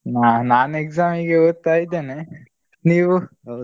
ನಾನು ನಾನ್ exam ಗೆ ಓದ್ತಾ ಇದ್ದೇನೆ, ನೀವು?